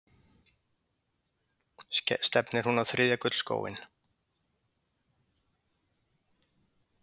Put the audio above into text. Stefnir hún á þriðja gullskóinn?